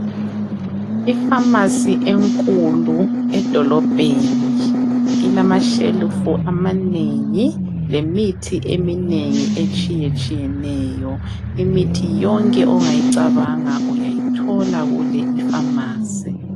I pharmacy enkulu edolobheni ilamashelufu amanengi lemithi eminengi etshiyetshiyeneyo. Imithi yonke ongayicabanga uyayithola kule ipharmacy.